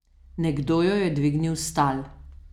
Nekdo jo je dvignil s tal.